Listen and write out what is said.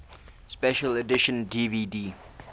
special edition dvd